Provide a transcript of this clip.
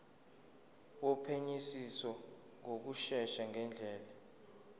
wophenyisiso ngokushesha ngendlela